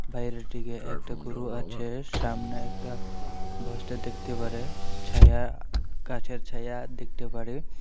বাইরের দিকে একটা গরু আছে সামনে একটা দেখতে পারে ছায়া গাছের ছায়া দেখতে পারে।